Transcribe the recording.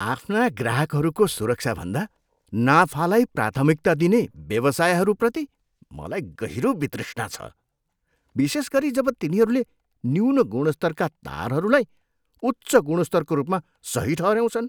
आफ्ना ग्राहकहरूको सुरक्षाभन्दा नाफालाई प्राथमिकता दिने व्यवसायहरूप्रति मलाई गहिरो वितृष्णा छ, विशेष गरी जब तिनीहरूले न्यून गुणस्तरका तारहरूलाई उच्च गुणस्तरको रूपमा सही ठहऱ्याउँछन्।